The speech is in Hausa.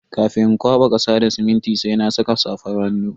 Kafin in kwaba kasa da siminti sai na saka safar hannu.